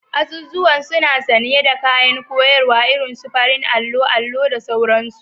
Azuzuwan suna sanye da kayan koyarwa irin su farin allo, allo, da sauransu